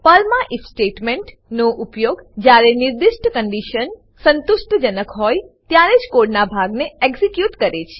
પર્લમાં if statement નો ઉપયોગ જયારે નિર્દિષ્ટ કન્ડીશન સંતુષ્ટજનક હોય ત્યારેજ કોડ ના ભાગ ને એક્ઝીક્યુટ કરે છે